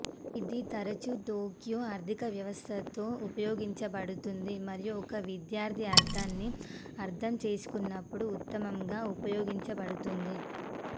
ఇది తరచూ టోక్యో ఆర్ధికవ్యవస్థతో ఉపయోగించబడుతుంది మరియు ఒక విద్యార్థి అర్థాన్ని అర్థం చేసుకున్నప్పుడు ఉత్తమంగా ఉపయోగించబడుతుంది